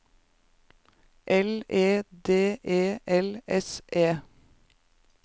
L E D E L S E